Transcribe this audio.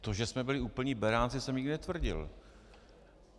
To, že jsme byli úplní beránci, jsem nikdy netvrdil.